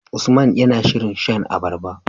Usman yAna shirin shan abarba